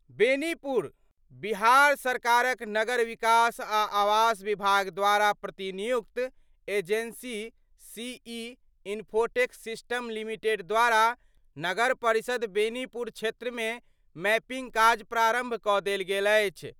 बेनीपुर : बिहार सरकारक नगर विकास आ आवास विभाग द्वारा प्रतिनियुक्त agency C E infotech system limited द्वारा नगर परिषद बेनीपुर क्षेत्रमे मैपिंग काज प्रारंभ कऽ देल गेल अछि।